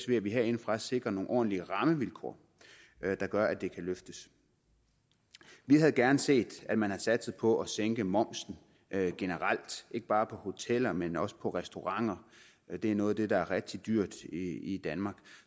ved at vi herindefra sikrer nogle ordentlige rammevilkår der gør at det kan løftes vi havde gerne set at man havde satset på at sænke momsen generelt ikke bare på hoteller men også på restauranter det er noget af det der er rigtig dyrt i danmark